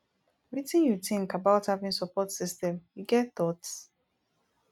wetin you think about having support system you get thoughts